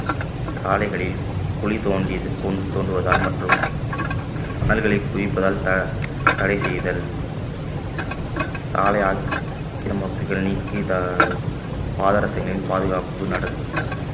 சாலைகளில் குழி தோண்டியது தோ~ தோண்டுவதால் மற்றும் மணல்களை குவிப்பதால் த~ தடை செய்தல் சாலையால் சில நீக்கி பா~ பாதரசங்களின் பாதுகாப்பு நடத்~